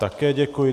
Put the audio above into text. Také děkuji.